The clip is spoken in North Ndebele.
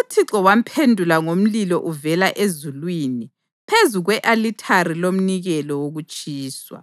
uThixo wamphendula ngomlilo uvela ezulwini phezu kwe-alithari lomnikelo wokutshiswa.